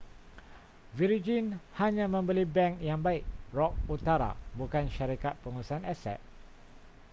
virgin hanya membeli bank yang baik' rock utara bukan syarikat pengurusan aset